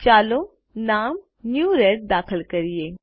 ચાલો નામ new red દાખલ કરીએ